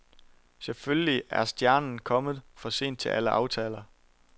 Selvfølgelig er stjernen kommet for sent til alle aftaler.